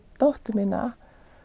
dóttur mína